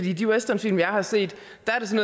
i de westernfilm jeg har set